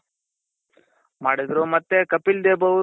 ಮಾಡಿದ್ರು ಮತ್ತೆ ಕಪಿಲ್ ದೇವ್ ಅವ್ರು